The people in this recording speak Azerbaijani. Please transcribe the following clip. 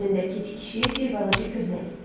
Sağ dizindəki tikişi bir balaca köhnəlib.